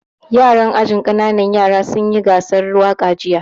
Yaran ajin ƙananan yara sun yi gasar waƙa jiya